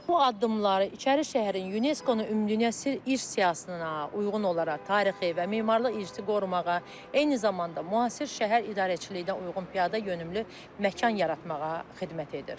Bu addımları İçəri şəhərin UNESCO-nun Ümumdünya İrs siyahısına uyğun olaraq tarixi və memarlıq irsini qorumağa, eyni zamanda müasir şəhər idarəçiliyinə uyğun piyadayönümlü məkan yaratmağa xidmət edir.